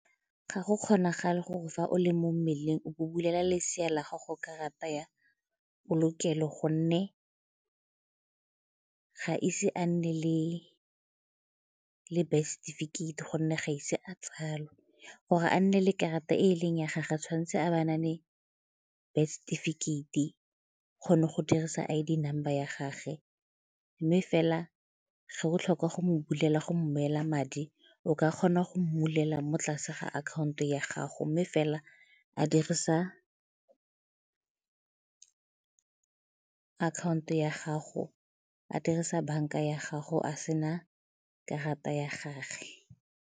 Ga go kgonagale gore fa o le mo mmeleng o bo bulela lesea la gago karata ya polokelo gonne ga ise a nne le birth setifikheiti gonne ga ise a tsalwe, gore a nne le karata e e leng ya gage tshwanetse a ba na le birth setifikheiti kgone go dirisa I_D number ya gage mme fela go botlhokwa go mo bulela go romela madi o ka kgona go mmulelela mo tlase ga akhanto ya gago mme fela a dirisa akhanto ya gago, a dirisa banka ya gago a sena karata ya gage.